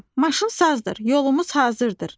Hə, maşın sazdır, yolumuz hazırdır.